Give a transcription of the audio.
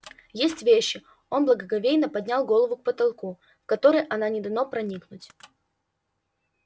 есть вещи он благоговейно поднял глаза к потолку в которые она не дано проникнуть